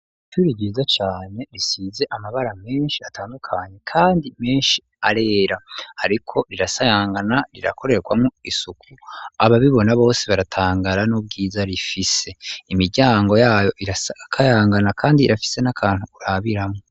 Ishuri ryiza cane, risize amabara menshi atandukanye kandi menshi arera, ariko rirasayangana, rirakorewamwo isuku, ababibona bose baratangara n'ubwiza rifise; imiryango yayo irakayangana kandi irafise n'akantu urabiramwo.